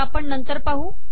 त्या आपण नंतर पाहू